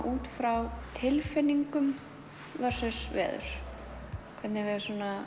út frá tilfinningum versus veður hvernig við